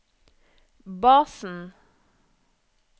basen